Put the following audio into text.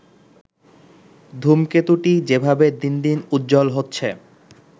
ধূমকেতুটি যেভাবে দিনদিন উজ্জ্বল হচ্ছে